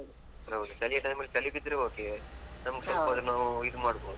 ಹೌದು ಚಳಿಯ time ಅಲ್ಲಿ ಚಳಿ ಬಿದ್ರೆ okay ನಮ್ಗೆ ಸ್ವಲ್ಪಾದ್ರೂ ನಾವು ಇದು ಮಾಡ್ಬಹುದು.